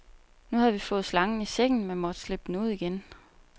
Nu havde vi fået slangen i sækken, men måtte slippe den ud igen.